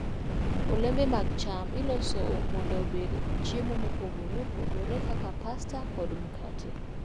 Olembe mag cham iloso mondo obed chiemo mopogore opogore kaka pasta kod makate.